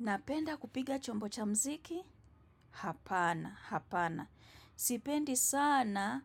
Napenda kupiga chombo cha mziki, hapana, hapana. Sipendi sana,